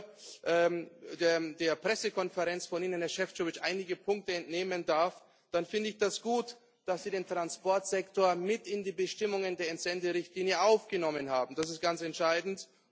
Wenn ich nur der Pressekonferenz von Ihnen, Herr Šefčovič, einige Punkte entnehmen darf, dann finde ich das gut, dass Sie den Transportsektor mit in die Bestimmungen der Entsenderichtlinie aufgenommen haben das ist ganz entscheidend.